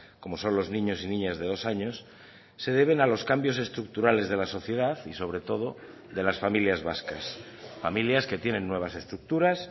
como son los niños y niñas de dos años se deben a los cambios estructurales de la sociedad y sobre todo de las familias vascas familias que tienen nuevas estructuras